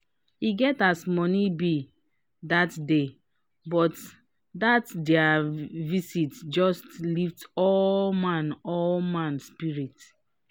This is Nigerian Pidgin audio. e get as money be dat day but dat dia visit just lift all man all man spirit.